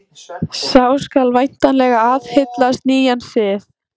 Sá skal væntanlega aðhyllast nýjan sið.